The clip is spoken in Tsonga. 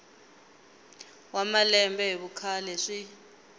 wa malembe hi vukhale swi